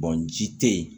ji tɛ yen